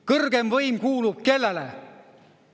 Kõrgeim võim kuulub kellele?